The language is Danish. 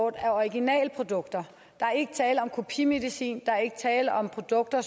af originalprodukter der er ikke tale om kopimedicin der er ikke tale om produkter